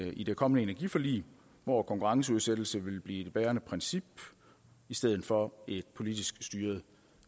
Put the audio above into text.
i det kommende energiforlig hvor konkurrenceudsættelse vil blive det bærende princip i stedet for en politisk styret